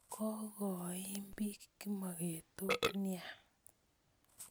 Kokoimbik kimogetok nea